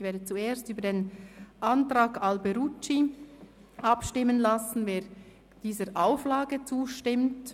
Ich werde zuerst über den Antrag Alberucci abstimmen lassen und fragen, wer dieser Auflage zustimmt.